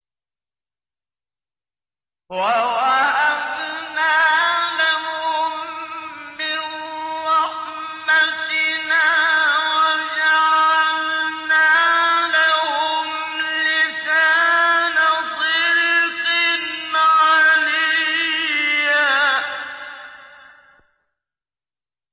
وَوَهَبْنَا لَهُم مِّن رَّحْمَتِنَا وَجَعَلْنَا لَهُمْ لِسَانَ صِدْقٍ عَلِيًّا